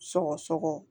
Sɔgɔsɔgɔ